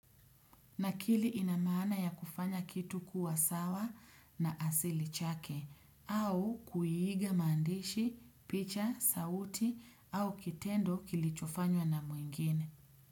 Nakili ina maana ya kufanya kitu kuwa sawa na asili chake au kuiiga maandishi, picha, sauti au kitendo kilichofanywa na mwengine.